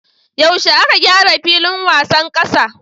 Yaushe aka gyara filin wasan kasa?